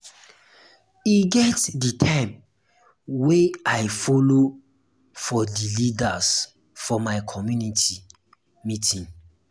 e get di um time wey i folo for di leaders for my community um meeting.